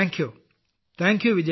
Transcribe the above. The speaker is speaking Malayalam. നന്ദി നന്ദി വിജയശാന്തി